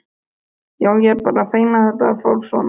Já, ég er bara feginn að þetta fór svona.